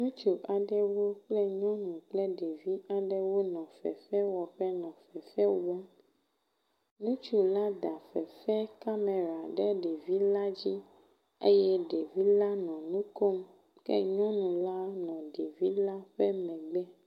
Ŋursu aɖewo kple nyɔnu kple ɖevi aɖewo nɔ fefewɔƒe nɔ fefewɔm. Ŋutsu la da fefe kamera ɖe ɖevi la dzi eye ɖevi la nɔ nu kom ke nyɔnu la nɔ ɖevi la ƒe megbe.